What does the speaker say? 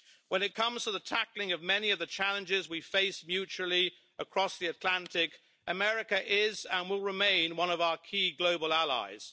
When it comes to the tackling of many of the challenges we face mutually across the Atlantic, America is and will remain one of our key global allies.